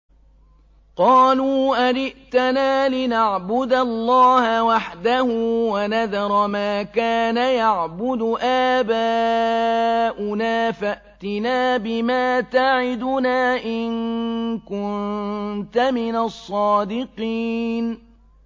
قَالُوا أَجِئْتَنَا لِنَعْبُدَ اللَّهَ وَحْدَهُ وَنَذَرَ مَا كَانَ يَعْبُدُ آبَاؤُنَا ۖ فَأْتِنَا بِمَا تَعِدُنَا إِن كُنتَ مِنَ الصَّادِقِينَ